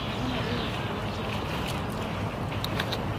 Na ĩno ĩgũkorwo njĩra njega y gwaka ũnyitanĩri.